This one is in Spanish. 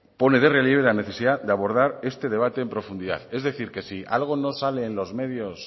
pone en relieve la necesidad de abordar este debate en profundidad es decir qué si algo no sale en los medios